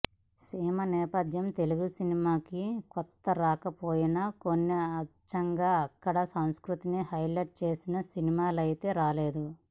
సీమ నేపథ్యం తెలుగు సినిమాకి కొత్త కాకపోయినా కానీ అచ్చంగా అక్కడి సంస్కృతిని హైలైట్ చేసిన సినిమాలైతే రాలేదు